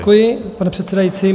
Děkuji, pane předsedající.